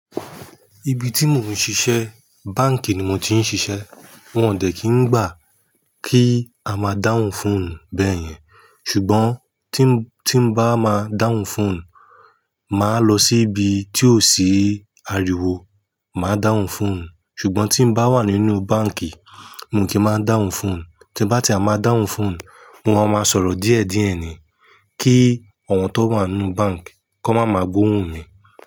Ibi tí mo ń ṣiṣẹ́, báǹkì ni mo ti ń ṣiṣẹ́. Wọ́n ò dẹ̀ kí ń gbà kí a máa dáhùn fóònù bẹ́ẹ̀ yẹn. Ṣùgbọ́n tí ń bá máa dáhùn fóònù, màá lọ sí ibi tí ò sí ariwo, màá dáhùn fóònù Ṣùgbọ́n tí ń bá wà nínú báǹkì, mo kì í má ń dáhùn fóònù. Tí ń bá ti e má dáhùn fóònù, mo má máa sọ̀rọ̀ díẹ̀díẹ̀ ni kí awọ́n tó wá nu báǹkì, kò má máa gbóhùn mi.